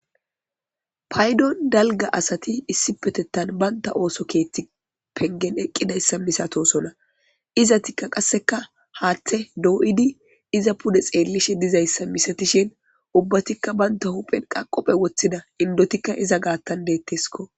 paydon dalga asati issi petettan baynta ooso keetti pengen eqqidayssa misatosona izatikka qasseka haatthe doo7idi iza pude xeellishe dizayssa misatishin ubbatikka baynta huphen qaqophe woththida indotikka iza gaattan deetteskko